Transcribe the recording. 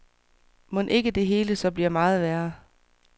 Mon ikke det hele så bliver meget værre?